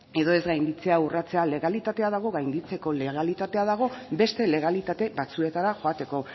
edo ez gainditzea urratzea legalitatea dago gainditzeko legalitatea dago beste legalitate batzuetara joateko